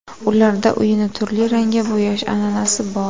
Ularda uyini turli rangga bo‘yash an’anasi bor.